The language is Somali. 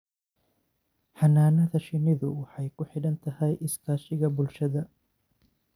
Xannaanada shinnidu waxay ku xidhan tahay iskaashiga bulshada.